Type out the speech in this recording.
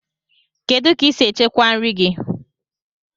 Kedụ ka I si echekwa nri gị?